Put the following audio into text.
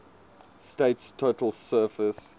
state's total surface